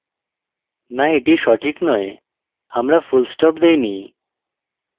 no এটি সঠিক নয় আমরা full stop দেইনি